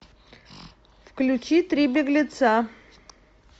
включи три беглеца